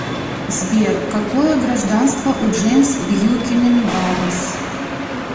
сбер какое гражданство у джеймс бьюкенен барнс